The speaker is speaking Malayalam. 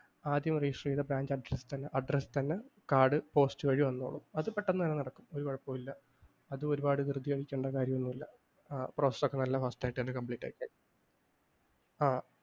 ആദ്യം register ചെയ്ത ബാങ്ക് address ൽ തന്നെ address തന്നെ പെട്ടെന്ന് കാർഡ് post വഴി വന്നോളും. പെട്ടെന്ന് തന്നെ നടക്കും ഒരു കുഴപ്പോമില്ല. അതും ഒരുപാട് ധൃതി പിടിക്കേണ്ട കാര്യമൊന്നുമില്ല. ആ process ഒക്കെ fast ആയിട്ട് തന്നെ complete ആയിക്കഴിഞ്ഞു.